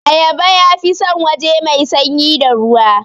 Ayaba yafi san waje mai sanyi da ruwa